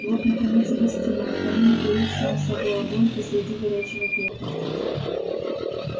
вот наконец и гостиная в камине горит сам собой огонь посреди горячего пепла